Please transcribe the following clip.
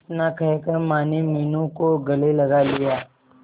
इतना कहकर माने मीनू को गले लगा लिया